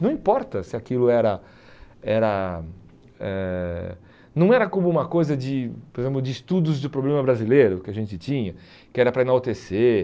Não importa se aquilo era... Era eh não era como uma coisa de por exemplo de estudos de problema brasileiro que a gente tinha, que era para enaltecer.